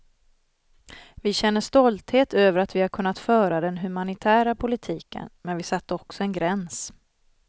Vi känner stolthet över att vi har kunnat föra den humanitära politiken, men vi satte också en gräns.